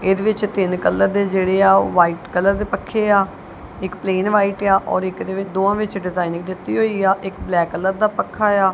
ਇਹਦੇ ਵਿੱਚ ਤਿੰਨ ਕਲਰ ਦੇ ਜਿਹੜੇ ਆ ਉਹ ਵਾਈਟ ਕਲਰ ਦੇ ਪੱਖੇ ਆ ਇੱਕ ਪਲੇਨ ਵਾਈਟ ਆ ਔਰ ਇੱਕ ਦੇ ਵਿੱਚ ਦੋਵਾਂ ਵਿੱਚ ਡਿਜ਼ਾਇਨਿੰਗ ਦਿੱਤੀ ਹੋਈ ਆ ਇੱਕ ਬਲੈਕ ਕਲਰ ਦਾ ਪੱਖਾ ਆ।